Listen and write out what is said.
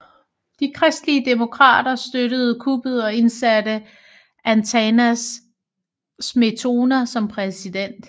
De kristelige demokrater støttede kuppet og indsatte Antanas Smetona som præsident